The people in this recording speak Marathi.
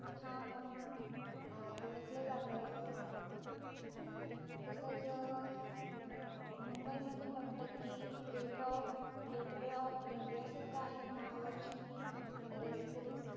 म्हणून ओळखलं जात तसेच अं मुंबई मध्ये म्हटलं कि gateoff gate way off india सुद्धा आहे महालक्षमी